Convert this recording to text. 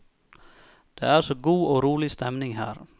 Det er så god og rolig stemning her.